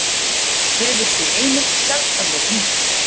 Hefur sú heimild sjaldan verið nýtt